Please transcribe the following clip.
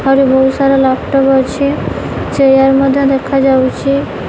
ଆହୁରି ବହୁତ ସାରା ଲାପଟପ୍ ଅଛି ଚେୟାର ମଧ୍ୟ ଦେଖାଯାଉଛି।